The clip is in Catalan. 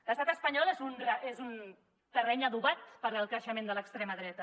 l’estat espanyol és un terreny adobat per al creixement de l’extrema dreta